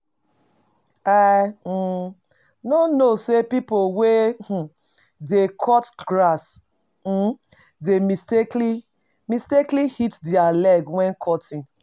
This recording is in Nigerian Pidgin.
I um no know say people wey um dey cut grass um dey mistakenly mistakenly hit their leg when cutting